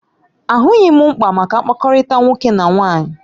Ahụghị m mkpa maka mkpakọrịta nwoke na nwaanyị